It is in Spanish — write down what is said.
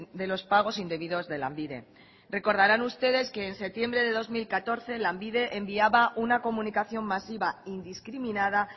de los pagos indebidos de lanbide recordarán ustedes que en septiembre de dos mil catorce lanbide enviaba una comunicación masiva indiscriminada